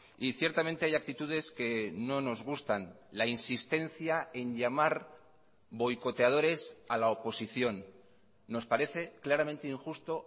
y ciertamente hay actitudes que no nos gustan la insistencia en llamar boicoteadores a la oposición nos parece claramente injusto